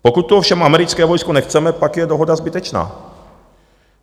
Pokud tu ovšem americké vojsko nechceme, pak je dohoda zbytečná.